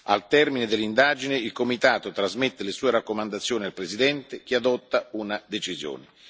Al termine dell'indagine, il comitato trasmette le sue raccomandazioni al Presidente, che adotta una decisione.